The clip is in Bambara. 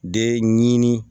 De ɲini